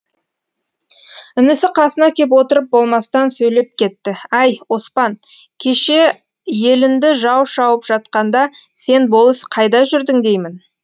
інісі қасына кеп отырып болмастан сөйлеп кетті әй оспан кеше елінді жау шауып жатқанда сен болыс қайда жүрдің деймін